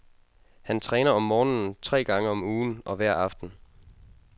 Han træner om morgenen tre gange om ugen og hver aften.